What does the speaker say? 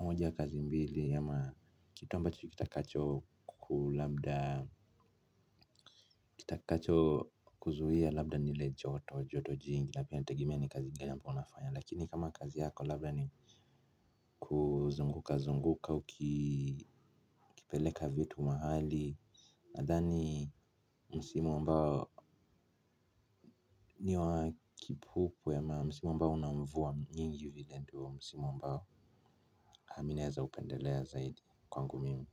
moja kazi mbili ama kitu ambacho kitakacho kulabda kitakacho kuzuia labda ni ile joto joto jingi na pia inategemea ni kazi gani ambao unafanya lakini kama kazi yako labda ni kuzunguka zunguka ukipeleka vitu mahali. Nadhani msimu ambao niwa kipupwe ama msimu ambao una mvua nyingi nivile tu msimu ambao aminaeza upendelea zaidi kwangu mimi.